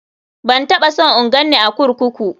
Ban taɓa son in ganni a kurkuku.